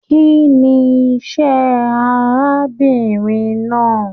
Kínní iṣẹ arábìnrin náà?